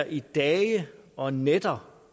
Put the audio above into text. i dage og nætter